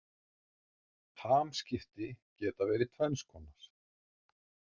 Hamskipti geta verið tvenns konar.